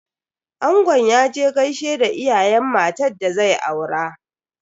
Angon ya je gaishe da iyayen matan da zai aura.